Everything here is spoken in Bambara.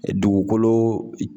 dugukolo i